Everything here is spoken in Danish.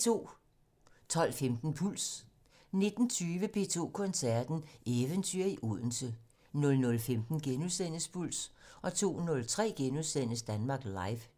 12:15: Puls 19:20: P2 Koncerten - Eventyr i Odense 00:15: Puls * 02:03: Danmark Live *